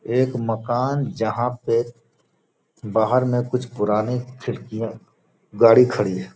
एक मकान जहाँ पे बाहर में कुछ पुराने खिड़कियाँ गाड़ी खड़ी है।